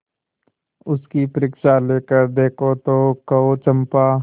उसकी परीक्षा लेकर देखो तो कहो चंपा